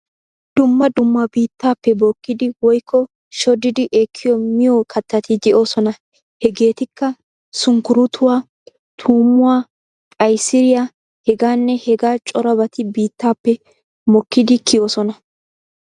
Dumma dumma biittaappe bookkidi woykko shoddidi ekkiyo miyo kattati de'oosona. Hegeetikka:- sunkkuruutuwa, tuummuwa, qaysiriya, hegaanne hegaa corabati biittaappe mokkidi kiyoosona.